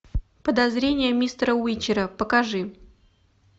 подозрение мистера уичера покажи